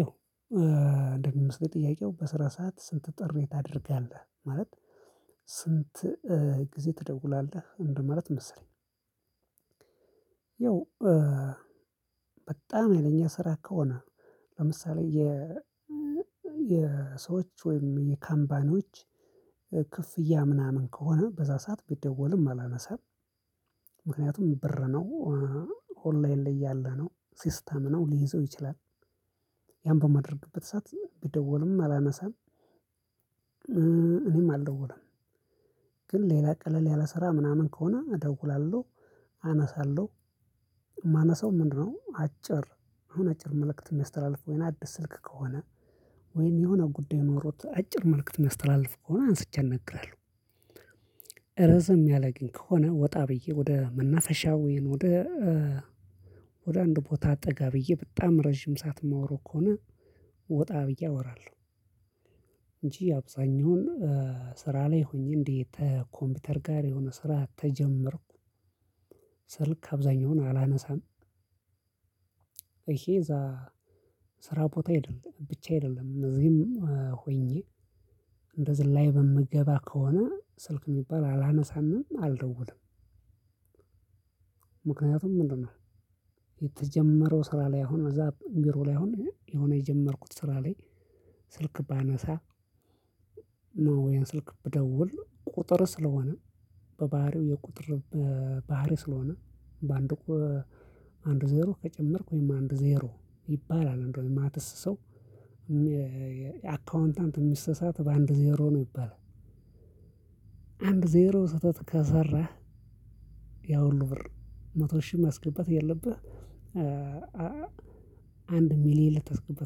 ያው እንደሚመስለኝ ጥያቄው በስራ ሰዓት ስልክ ጥሪ ታደርጋለህ ማለት? ስንት ጊዜ ትደውላለህ እንደማለት መሰለኝ። ያው በጣም ሀይለኛ ስራ ከሆነ ለምሳሌ የ የሰዎች ወይም የካምፓኖች ክፍያ ምናምን ከሆነ በዛ ሰዓት ቢደወልም አላነሳም። ምክንያቱም ብር ነው ኦንላይን ላይ ያለ ነው ሲስተም ነው ሊይዘው ይችላል። ያን በማድረግበት ሰዓት ቢደወልም አላነሳም እኔም አልደወልም። ግን ሌላ ቀለል ያለ ስራ ምናምን ከሆነ እደውላለሁ አነሳለሁ። የማነሳው ምንድነው? አጭር አሁን አጭር መልእክት ነው የሚያስተላልፉ ወይን አዲስ ስልክ ከሆነ ወይን የሆነ ጉዳይ ኖሮት አጭር መልእክት የሚያስተላለፍ ከሆነ አንስቼ አናግራለሁ። ረዘም ያለ ግን ከሆነ ወጣ ብዬ ወደ መናፈሻው ወይን ወደ ወደ አንድ ቦታ አጠጋ ብዬ በጣም ረጅም ሰዓት ማወራው ከሆነ ወጣ ብዬ አወራለሁ። እንጂ አብዛኛውን ስራ ላይ ሆኜ እንዴት ኮምፒውተር ጋር የሆነ ስራ ተጀመርኩ። ስልክ አብዛኛውን አላነሳም። ይሄ እዛ ስራ ቦታ አይደለም ብቻ አይደለም እዚህም ሆኜ እንደ ዝላይ በምገባ ከሆነ ስልክ የሚባል አላነሳንም አልደውልም። ምክንያቱም ምንድነው? የተጀመረው ስራ ላይ አሁን እዛ ቢሮ ላይ አሁን የሆነ የጀመርኩት ስራ ላይ። ስልክ ባነሳ ነው ያን ስልክ ብደውል ቁጥር ስለሆነ በባህሪው የቁጥር ባህሪ ስለሆነ በአንድ እኮ አንድ ዜሮ ከጨመርኩኝ አንድ ዜሮ ይባላል እንደው የማትስ ሰው። አካውንታንትም የሚሳሳት በአንድ ዜሮ ነው ይባላል። አንድ ዜሮ ስህተት ከሰራህ ያሁሉ ብር መቶ ሺህ ማስገባት እያለብህ። አንድ ሚሊየን ልትስገባ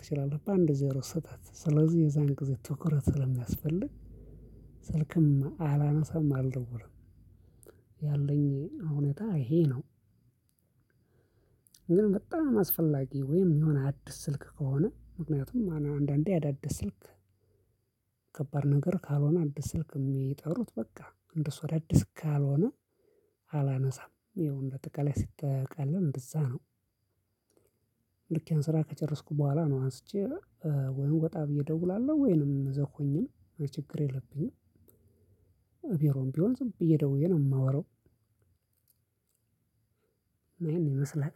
ትችላለህ በአንድ ዜሮ ስህተት ስለዚህ የዛን ጊዜ ትኩረት ስለሚያስፈልግ። ስልክም አላነሳም አልደውልም። ያለኝ እውነታ ይሄ ነው። ግን በጣም አስፈላጊ ወይም የሆነ አዲስ ስልክ ከሆነ ምክንያቱም አንዳንዴ አዳዲስ ስልክ ከባድ ነገር ካልሆነ ከባድ ነገር ካልሆነ አዲስ ስልክ የሚጠሩት በቃ እንደሱ አዳዲስ ካልሆነ በቃ አላነሳም ይኸው እንደአጠቃላይ ሲጠቃለል እንደዛ ነው። ልክ ያን ስራ ከጨረስኩ በኋላ ነው አንስቼ ወይን ወጣ ብዬ እደውላለሁ ወይንም እዛው ሆኜ ችግር የለብኝም። ቢሮም ቢሆን ዝም ብዬ ደውዬ ነው የማወራው። ይሄን ይመስላል።